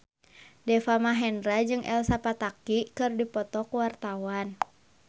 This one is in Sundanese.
Deva Mahendra jeung Elsa Pataky keur dipoto ku wartawan